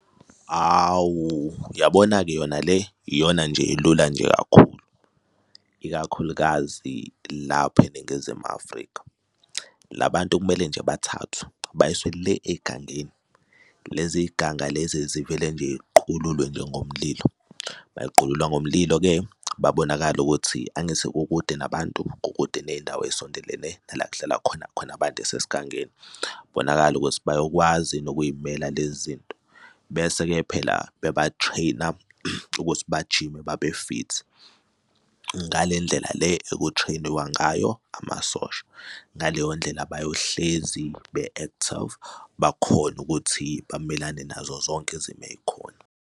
Hawu, uyabona-ke yona le iyona nje elula nje kakhulu ikakhulukazi lapha eNingizimu Afrika. La bantu kumele nje bathathwe bayiswe le ey'gangeni. Lezi iy'ganga lezi zivele nje y'qululwe nje ngomlilo, bay'qulula ngomlilo-ke babonakale ukuthi angithi kukude nabantu kukude ney'ndawo ey'sondelene nala kuhlala khona, khona abantu esesigangeni bonakale ukuthi bayokwazi yini ukuy'mela lezi zinto. Bese-ke phela bebathreyina ukuthi bajime babe-fit ngale ndlela le ekuthreyiniwa ngayo amasosha. Ngaleyo ndlela bayohlezi be-active bakhone ukuthi bamelane nazo zonke izimo ey'khona.